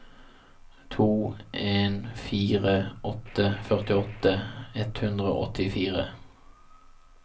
to en fire åtte førtiåtte ett hundre og åttifire